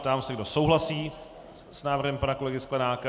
Ptám se, kdo souhlasí s návrhem pana kolegy Sklenáka.